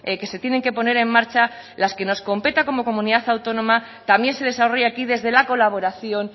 que se tienen que poner en marcha las que nos competa como comunidad autónoma también se desarrolla aquí desde la colaboración